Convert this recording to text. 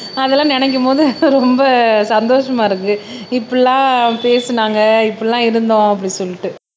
அதெல்லாம் நினைக்கும்போது ரொம்ப சந்தோஷமா இருக்கு இப்படியெல்லாம் பேசுனாங்க இப்படி எல்லாம் இருந்தோம் அப்படி சொல்லிட்டு